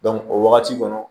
o wagati kɔnɔ